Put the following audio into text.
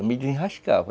Eu me desenrascava.